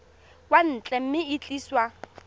kwa ntle mme e tliswa